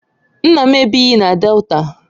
Nna m ebighị na Delta